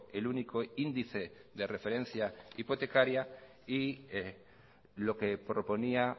el único índice de referencia hipotecaria y lo que proponía